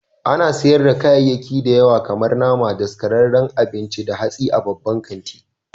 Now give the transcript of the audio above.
Ana sayar da kayayyaki da yawa kamar nama, daskararrun abinci da hatsi a babban kanti.